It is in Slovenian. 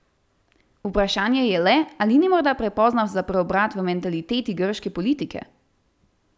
Vprašanje je le, ali ni morda prepozno za preobrat v mentaliteti grške politike?